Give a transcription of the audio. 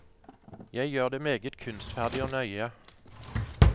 Jeg gjør det meget kunstferdig og nøye.